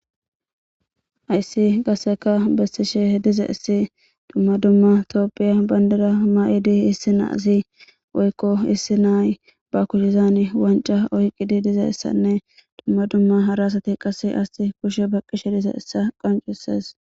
Hayisi qasseka besishe dizayisi duma duma tophiya bandira mayidi issi assi woyiko issi na'aui ba kusheni wanicca oyikidi dizayisaanne duma duma hara assati iyasi kushe baqishe dizayisa qoncisesi